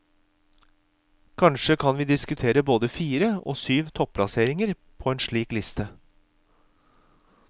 Kanskje kan vi diskutere både fire og syv topplasseringer på en slik liste.